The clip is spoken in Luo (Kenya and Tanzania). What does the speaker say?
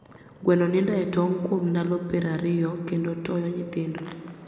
Gweno nindo etong kuom ndalo piero ariyo kendo toyo nyithindo